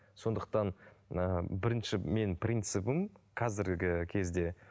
сондықтан ыыы бірінші менің принцібім қазіргі кезде